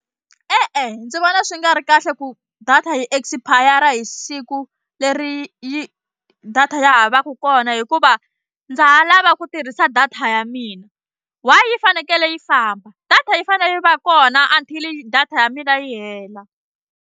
E-e ndzi vona swi nga ri kahle ku data yi expire hi siku leri yi data ya ha va ku kona hikuva ndza ha lava ku tirhisa data ya mina why yi fanekele yi famba data yi fanele yi va kona until data ya mina yi hela.